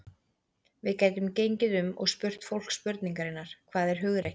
Við gætum gengið um og spurt fólk spurningarinnar: Hvað er hugrekki?